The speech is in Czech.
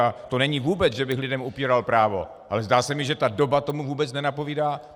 A to není vůbec, že bych lidem upíral právo, ale zdá se mi, že ta doba tomu vůbec nenapovídá.